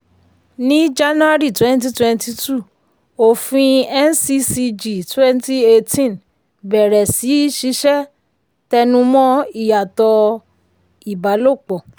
ní jan 2020 òfin nccg 2018 bẹ̀rẹ̀ sí í ṣiṣẹ́ tẹnumọ̀ ìyàtọ̀ ìbálopọ̀.